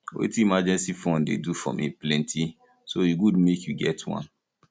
wetin emergency fund dey do for me plenty so e good make you get one